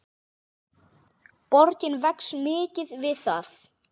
Borgin vex mikið við það.